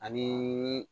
Ani